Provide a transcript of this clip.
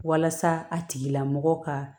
Walasa a tigi lamɔgɔ ka